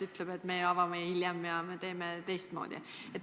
Ütleb, et me avame hiljem ja me teeme teistmoodi.